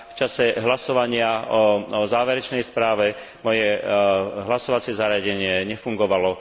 V čase hlasovania o záverečnej správe moje hlasovacie zariadenie nefungovalo.